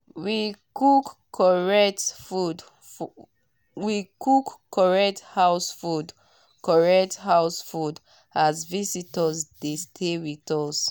we cook correct house food correct house food as visitor dey stay with us.